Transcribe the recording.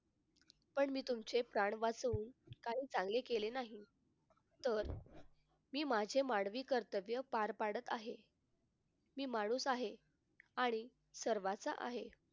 पण मी तुमचे प्राण वाचवून काही चांगले केले नाही तर मी माझे मानवी कर्तव्य पार पाडत आहे मी माणूस आहे आणि सर्वांचा आहे.